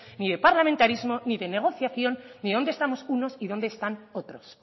ni de parlamentarismo ni de negociación ni dónde estamos unos y dónde están otros